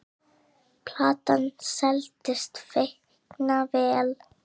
Platan seldist feikna vel.